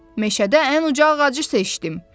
Meşədə ən uca ağacı seçdim.